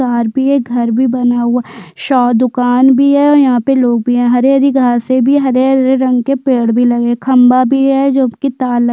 तार भी है घर भी बना हुआ है सौ दुकान भी है यहाँ पे लोग भी है हरी-हरी घास भी है हरे-हरे रंग के पेड़े भी लगे है खम्भा भी है जो की तार --